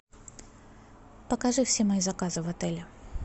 покажи все мои заказы в отеле